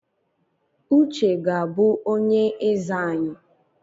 Uche ga-abụ onye eze anyị